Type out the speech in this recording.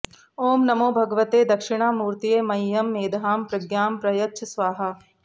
ॐ नमो भगवते दक्षिणामूर्तये मह्यं मेधां प्रज्ञां प्रयच्छ स्वाहा